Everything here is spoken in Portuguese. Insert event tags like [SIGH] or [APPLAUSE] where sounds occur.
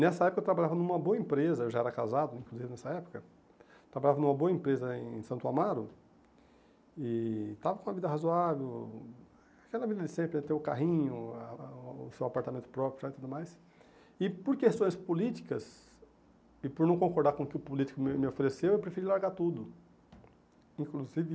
Nessa época eu trabalhava numa boa empresa, eu já era casado né, inclusive, nessa época, eu trabalhava numa boa empresa em Santo Amaro, e estava com uma vida razoável, aquela vida de sempre, é ter o carrinho, ah ah o seu apartamento próprio [UNINTELLIGIBLE] e tudo mais, e por questões políticas, e por não concordar com o que o político me me ofereceu, eu preferi largar tudo, inclusive